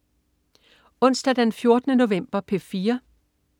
Onsdag den 14. november - P4: